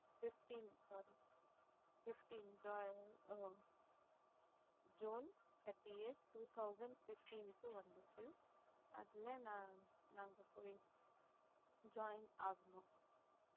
fifteen sorry fifteen June thirtieth, two thousand fifteen க்கு வந்துச்சு அதுல நான் நாங்க போயி join ஆகணும்